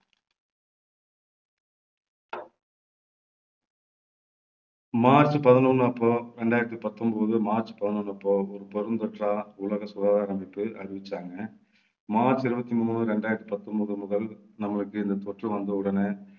March பதினொண்ணு அப்போ இரண்டாயிரத்து பத்தொன்பது மார்ச் பதினொண்ணு அப்போ ஒரு பெருந்தொற்றா உலக சுகாதார அமைப்பு அறிவிச்சாங்க மார்ச் இருபத்தி மூணு இரண்டாயிரத்தி பத்தொன்பது முதல் நம்மளுக்கு இந்த தொற்று வந்தவுடனே